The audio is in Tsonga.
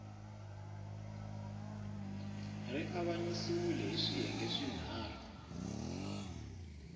ri avanyisiwile hi swiyenge swinharhu